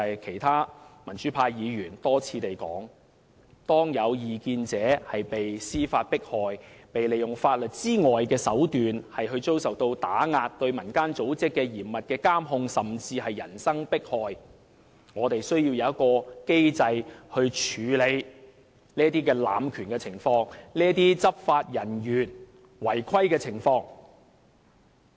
其他民主派議員多次提到，當有異見者被司法迫害、被利用法律以外的手段打壓，並對民間組織作嚴密監控，甚至人身迫害時，我們便需要有機制處理這種濫權及執法人員違規的情況。